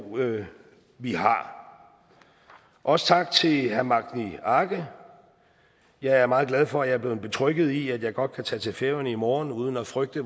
vi har også tak til herre magni arge jeg er meget glad for at jeg er blevet betrygget i at jeg godt kan tage til færøerne i morgen uden at frygte